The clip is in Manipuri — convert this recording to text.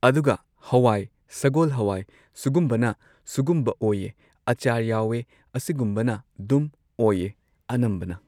ꯑꯗꯨꯒ ꯍꯋꯥꯏ ꯁꯒꯣꯜ ꯍꯋꯥꯢ ꯁꯨꯒꯨꯝꯕꯅ ꯁꯨꯒꯨꯝꯕ ꯑꯣꯏꯌꯦ ꯑꯆꯥꯔ ꯌꯥꯎꯑꯦ ꯑꯁꯤꯒꯨꯝꯕꯅ ꯗꯨꯝ ꯑꯣꯢꯌꯦ ꯑꯅꯝꯕꯅ